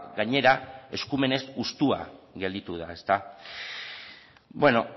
gainera eskumenez hustua gelditu da bueno